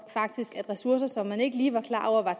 at ressourcer som man ikke lige var klar over var